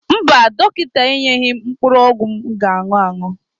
Mba, dọkịta enyeghị m mkpụrụ ọgwụ m ga-añụ añụ.